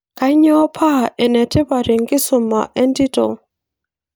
kanyioo paa enetipat ekisuma etito